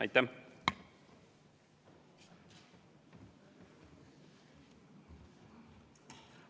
Aitäh!